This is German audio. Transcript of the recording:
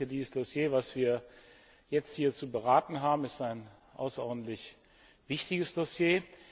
Dieses Dossier, was wir jetzt hier zu beraten haben, ist ein außerordentlich wichtiges Dossier.